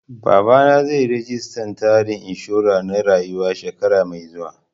Babana zai yi registan tsarin inshura na rayuwa shekara mai zuwa